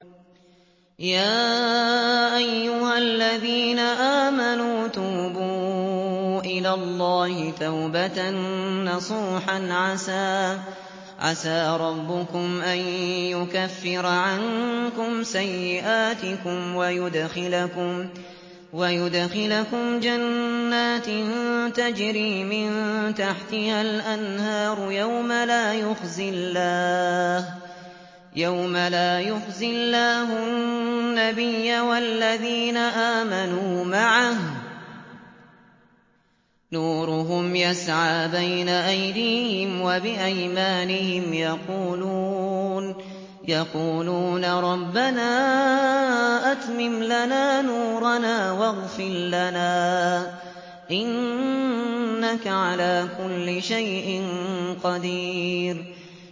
يَا أَيُّهَا الَّذِينَ آمَنُوا تُوبُوا إِلَى اللَّهِ تَوْبَةً نَّصُوحًا عَسَىٰ رَبُّكُمْ أَن يُكَفِّرَ عَنكُمْ سَيِّئَاتِكُمْ وَيُدْخِلَكُمْ جَنَّاتٍ تَجْرِي مِن تَحْتِهَا الْأَنْهَارُ يَوْمَ لَا يُخْزِي اللَّهُ النَّبِيَّ وَالَّذِينَ آمَنُوا مَعَهُ ۖ نُورُهُمْ يَسْعَىٰ بَيْنَ أَيْدِيهِمْ وَبِأَيْمَانِهِمْ يَقُولُونَ رَبَّنَا أَتْمِمْ لَنَا نُورَنَا وَاغْفِرْ لَنَا ۖ إِنَّكَ عَلَىٰ كُلِّ شَيْءٍ قَدِيرٌ